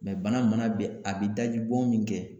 bana mana bɛn a bi dajibɔn min kɛ